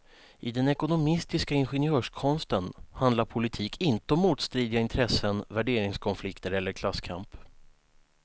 I den ekonomistiska ingenjörskonsten handlar politik inte om motstridiga intressen, värderingskonflikter eller klasskamp.